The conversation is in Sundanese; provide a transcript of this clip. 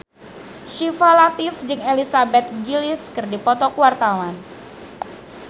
Syifa Latief jeung Elizabeth Gillies keur dipoto ku wartawan